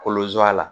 Kolozo a la